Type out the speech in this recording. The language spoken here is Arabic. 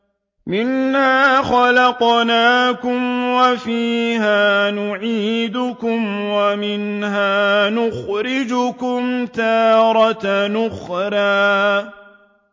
۞ مِنْهَا خَلَقْنَاكُمْ وَفِيهَا نُعِيدُكُمْ وَمِنْهَا نُخْرِجُكُمْ تَارَةً أُخْرَىٰ